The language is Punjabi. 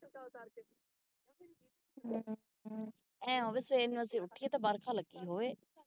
ਏ ਹੋਵੇ ਸਵੇਰ ਨੂੰ ਅਸੀਂ ਉਠੀਏ ਤੇ ਵਰਖਾ ਲਗੀ ਹੋਵੇ